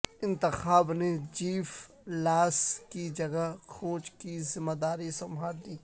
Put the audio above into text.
انتخاب نے Jeff Lawson کی جگہ کوچ کی ذمہ داری سنبھالی ہے